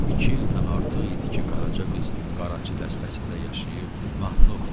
İki ildən artıq idi ki, Qaraca qız qaraçı dəstəsində yaşayıb mahnı oxuyur.